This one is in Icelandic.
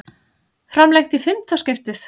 Framlengt í fimmta skiptið